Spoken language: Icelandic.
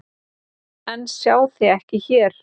En sjá þig ekki hér.